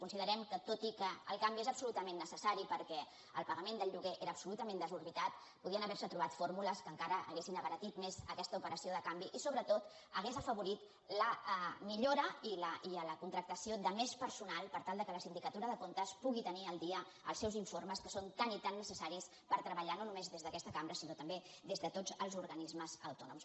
considerem que tot i que el canvi és absolutament necessari perquè el pagament del lloguer era absolutament desorbitat podien haver se trobar fórmules que encara haguessin abaratit més aquesta operació de canvi i sobretot que hauria afavorit la millora i la contractació de més personal per tal que la sindicatura de comptes pugui tenir al dia els seus informes que són tan i tan necessaris per treballar no només des d’aquesta cambra sinó també des de tots els organismes autònoms